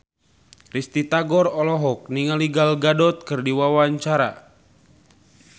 Risty Tagor olohok ningali Gal Gadot keur diwawancara